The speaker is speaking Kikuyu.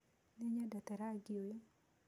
Nĩnyendete rangĩ ũyũ.